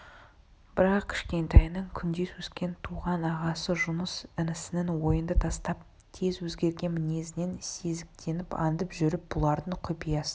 бірақ кішкентайынан күндес өскен туған ағасы жұныс інісінің ойынды тастап тез өзгерген мінезінен сезіктеніп аңдып жүріп бұлардың құпиясын